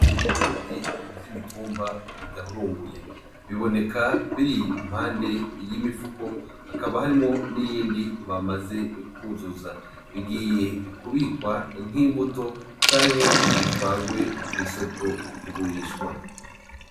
Ibigori vyumitumba bidahurunguye , bibonekako biri impande yimifuko hakaba harimwo niyindi bamaze kuzuza bigiye kubwikwa nkimbuto canke bitwarwe kwisoko kugurishwa.